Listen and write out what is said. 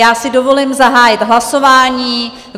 Já si dovolím zahájit hlasování.